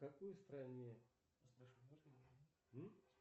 в какой стране